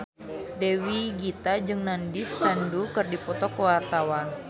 Dewi Gita jeung Nandish Sandhu keur dipoto ku wartawan